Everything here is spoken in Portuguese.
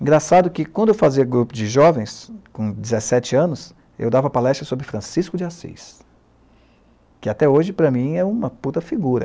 Engraçado que, quando eu fazia grupo de jovens, com dezessete anos, eu dava palestra sobre Francisco de Assis, que até hoje, para mim, é uma puta figura.